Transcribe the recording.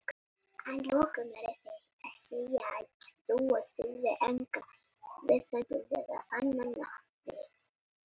Að lokum eru þeir sem segja að trú þurfi engra vísindalegra sannana við.